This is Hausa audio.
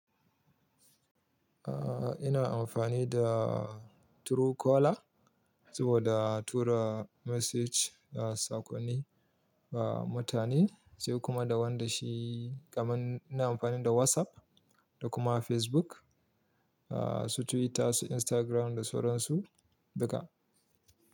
Aaa ina amfani da Truecaller saboda tura message a sakonni ba mutane sai kuma da wanda shi kamar ina amfani da WhatsApp da kuma Facebook, aa su Twitter, su Instagram da sauransu duka.